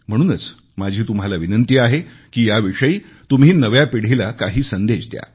म्हणूनच माझी तुम्हाला विनंती आहे की याविषयी तुम्ही नव्या पिढीला काही संदेश द्या